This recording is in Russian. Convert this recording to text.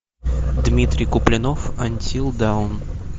дмитрий куплинов антил даун